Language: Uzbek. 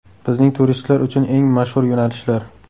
Bizning turistlar uchun eng mashhur yo‘nalishlar.